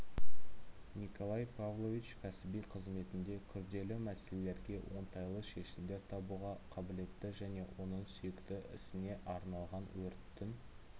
николай павлович кәсіби қызметінде күрделі мәселелерге оңтайлы шешімдер табуға қабілетті және оның сүйікті ісіне арналған өрттің